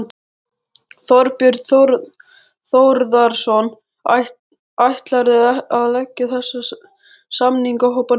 Þorbjörn Þórðarson: Ætlarðu að leggja þessa samningahópa niður?